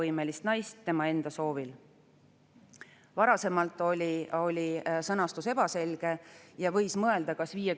Kuna sellised nagu "partnerannetaja" ja "mittepartnerannetaja" on toodud ka kunstliku viljastamise ja embrüokaitse seadusesse, siis oli selline täpsustus asjakohane.